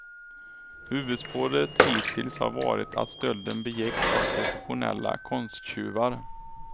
Huvudspåret hittills har varit att stölden begicks av professionella konsttjuvar.